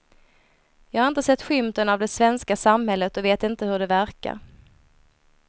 Jag har inte sett skymten av det svenska samhället och vet inte hur det verkar.